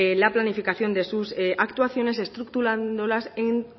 la planificación de sus actuaciones estructurándolas en